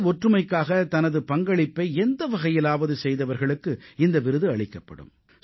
தேச ஒற்றுமைக்காக தனது பங்களிப்பை எந்த வகையிலாவது செய்தவர்களுக்கு இந்த விருது அளிக்கப்படும்